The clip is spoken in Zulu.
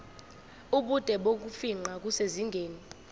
ubude bokufingqa kusezingeni